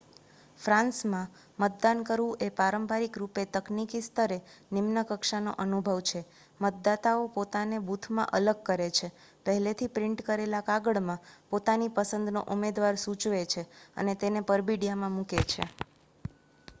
ફ્રાન્સમાં મતદાન કરવું એ પારંપરિક રૂપે તકનિકી સ્તરે નિમ્ન કક્ષાનો અનુભવ છે મતદાતાઓ પોતાને બૂથમાં અલગ કરે છે પહેલેથી પ્રિન્ટ કરેલા કાગળમાં પોતાની પસંદનો ઉમેદવાર સૂચવે છે અને તેને પરબીડીયામાં મૂકે છે